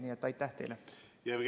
Nii et aitäh teile!